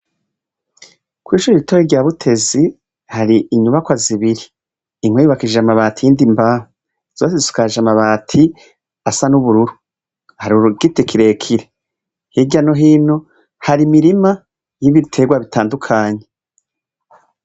Kw'ishure ritoya rya Butezi, hari inyubakwa zibiri : imwe yubakishije amabati, iyindi imbaho. Zose zisakaje amabati asa n'ubururu. Hari igiti kirekire. Hirya no hino hari imirima n'ibiterwa bitandukanye.